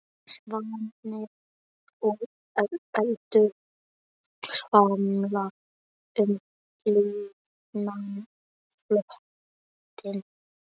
Svanir og endur svamla um lygnan flötinn.